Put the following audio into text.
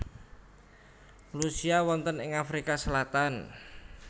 Lucia wonten ing Afrika Selatan